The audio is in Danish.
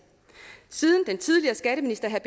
siden den tidligere skatteminister herre